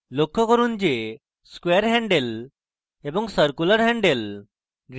লক্ষ্য করুন যে 1 square handle এবং 2 circular handles